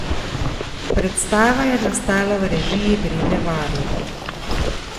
Predstava je nastala v režiji Brede Varl.